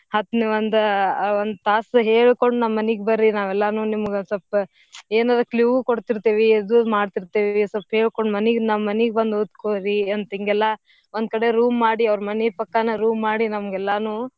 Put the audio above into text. ಒಂದ ಒಂದ್ ತಾಸ್ ಹೇಳ್ಕೊಂಡ್ ನಮ್ ಮನೀಗ್ ಬರ್ರೀ ನಾವ್ ಎಲ್ಲಾನೂ ನಿಮ್ಗ್ ಸ್ವಲ್ಪ ಏನಾದ್ರು clue ಕೊಡ್ತಿರ್ತೇವಿ ಇದು ಮಾಡ್ತಿರ್ತೇವಿ ಸ್ವಲ್ಪ್ ಹೇಳ್ಕೊಂಡ್ ಮನೀಗ್ ನಮ್ಮನೀಗ್ ಬಂದ್ ಓದ್ಕೋರಿ ಅಂತಿಂಗೆಲ್ಲಾ ಒಂದ್ಕಡೆ room ಮಾಡಿ ಅವ್ರ್ ಮನೀ ಪಕ್ಕಾನ room ಮಾಡಿ ನಮ್ಗೆಲ್ಲಾನೂ.